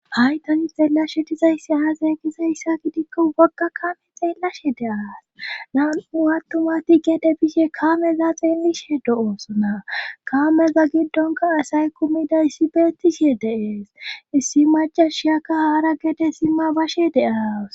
Hay tani xeelashe dizaysi aazeeqiza hissa gidikko wogga kame xeellashe de'as nam'u attumati geede bishe kameza xeelishe do oosona kameza giddonka asay kumida issi beettishe deees issi majashiyaka haara geete sima bashe de'as.